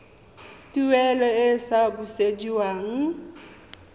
tuelo e e sa busediweng